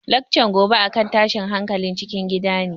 Laccan gobe a kan tashin hankalin cikin gida ne